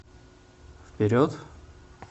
вперед